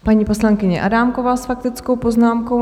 Paní poslankyně Adámková s faktickou poznámkou.